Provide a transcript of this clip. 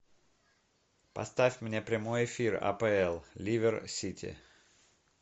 поставь мне прямой эфир апл ливер сити